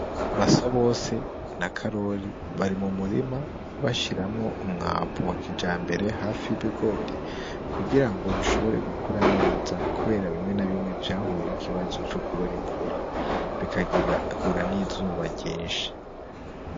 Basabose na Karori bari mu murima bashiramwo umwavu wa kijambere hafi y'ibigori kugirango bishobore gukura neza kubera bimwe na bimwe vyahuye n'ikibazo co kubura imvura bigahura n'izuba ryinshi.